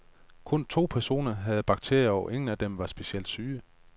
Kun to personer havde bakterierne, og ingen af dem var specielt syge.